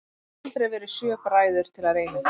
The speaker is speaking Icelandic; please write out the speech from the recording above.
Og það hafa aldrei verið sjö bræður til að reyna þetta?